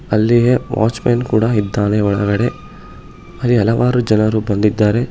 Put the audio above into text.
ಅಲ್ಲಿ watchman ಕೂಡ ಇದ್ದಾನೆ ಒಳಗಡೆ ಅಲ್ಲಿ ಹಲವಾರು ಜನರು ಬಂದಿದ್ದಾರೆ.